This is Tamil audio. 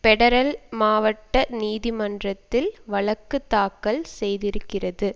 பெடரல் மாவட்ட நீதிமன்றத்தில் வழக்கு தாக்கல் செய்திருக்கிறது